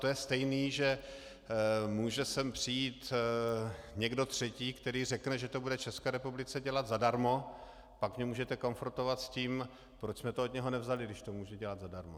To je stejné, že může sem přijít někdo třetí, který řekne, že to bude České republice dělat zadarmo, pak mě můžete konfrontovat s tím, proč jsme to od něho nevzali, když to může dělat zadarmo.